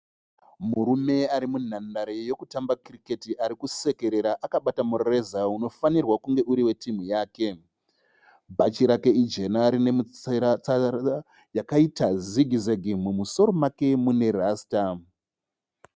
Murume arimunhandare yekutamba kiriketi arikusekerera akabata mureza unofanirwa kunge uri wetimhu yake. Bhachi rake ijena rine mutsara yakaita zigi zegi. Mumusoro make mune rasta.